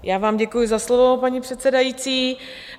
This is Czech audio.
Já vám děkuji za slovo, paní předsedající.